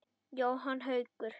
Jóhann Haukur.